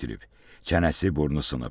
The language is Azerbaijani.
Çənəsi, burnu sınıb.